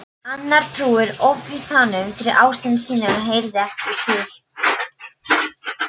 Annar trúir Ofvitanum fyrir ástarraunum sínum en hann heyrir ekki.